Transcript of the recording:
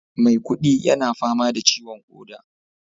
maikudi yana fama da ciwon koda